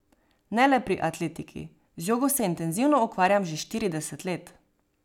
Ne le pri atletiki, z jogo se intenzivno ukvarjam že štirideset let.